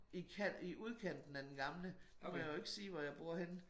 I kant i udkanten af den gamle nu må jeg jo ikke sige hvor jeg bor henne